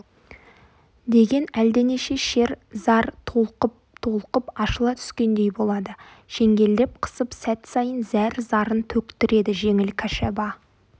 деген әлденеше шер зар толқып-толқып ашыла түскендей болады шеңгелдеп қысып сәт сайын зәр-зарын төктіреді жеңіл кәшаба